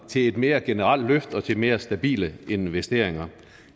til et mere generelt løft og til mere stabile investeringer